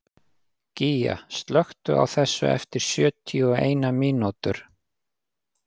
Gígja, slökktu á þessu eftir sjötíu og eina mínútur.